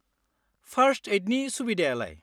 फार्स्ट-एइडनि सुबिदायालाय?